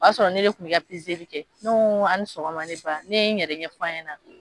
O y'a sɔrɔ ne de kun bɛ ka ne ko n ko ani sɔgɔma ne ba ne n yɛrɛ ɲɛf'a ɲɛna.